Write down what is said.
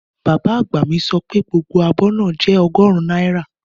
Bàbá àgbà mi sọ pé gbogbo abọ́ náà je ọgọ́rùn náírà